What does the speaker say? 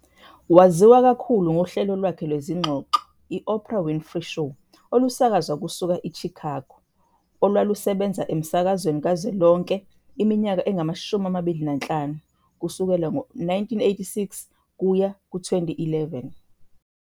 Waziwa kakhulu ngohlelo lwakhe lwezingxoxo, i-Oprah Winfrey Show, olusakazwa kusuka IChicago, olwalusebenza emsakazweni kazwelonke iminyaka engu-25, kusukela ngo-1986 kuya ku-2011.